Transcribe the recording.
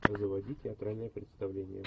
заводи театральное представление